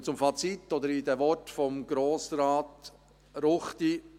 Ich komme zum Fazit, oder in den Worten von Grossrat Ruchti: